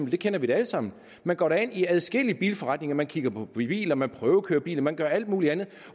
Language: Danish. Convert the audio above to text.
vi kender da alle sammen det man går ind i adskillige bilforretninger man kigger på biler man prøvekører biler man gør alt muligt andet